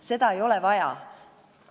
Seda ei ole vaja.